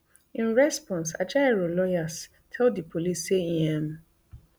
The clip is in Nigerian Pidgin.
in response ajaero lawyers tell di police say im um